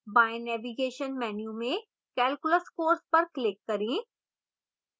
बाएँ navigation menu में calculus course पर click करें